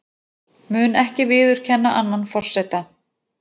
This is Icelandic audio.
Mun ekki viðurkenna annan forseta